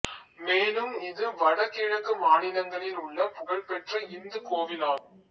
மேலும் இது வடகிழக்கு மாநிலங்களில் உள்ள புகழ்பெற்ற இந்துக் கோவிலாகும்